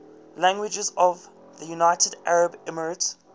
languages of the united arab emirates